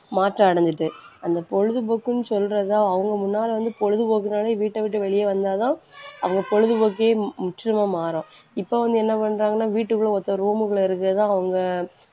மாற்றம் அடைஞ்சிட்டு. அந்த பொழுதுபோக்குன்னு சொல்றதுதான் அவங்க முன்னால வந்து பொழுதுபோக்குனாலே வீட்டை விட்டு வெளியே வந்தாதான் அவங்க பொழுதுபோக்கையே மு~ முற்றிலுமா மாறும். இப்ப வந்து என்ன பண்றாங்கன்னா வீட்டுக்குள்ள ஒத்த room க்குள்ள இருக்கிறதை அவங்க